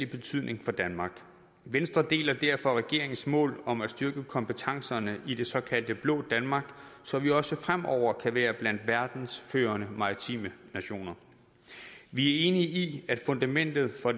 betydning for danmark venstre deler derfor regeringens mål om at styrke kompetencerne i det såkaldte blå danmark så vi også fremover kan være blandt verdens førende maritime nationer vi er enige i at fundamentet for